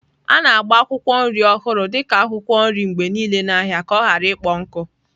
A na-agba akwụkwọ nri ọhụrụ dị ka akwụkwọ nri mgbe niile n'ahịa ka ọ ghara ịkpọ nkụ.